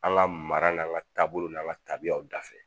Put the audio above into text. An ka mara n'an ka taabolo n'an ka tabiyaw dafɛ